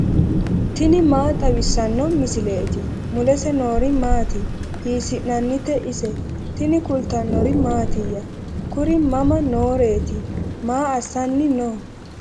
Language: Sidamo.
tini maa xawissanno misileeti ? mulese noori maati ? hiissinannite ise ? tini kultannori mattiya? Kuri mama nooreetti? maa assanni noo?